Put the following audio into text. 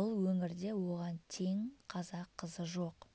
бұл өңірде оған тең қазақ қызы жоқ